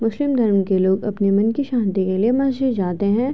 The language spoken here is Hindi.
मुस्लिम धर्म के लोग अपने मन की शांति के लिए मस्जिद जाते हैं।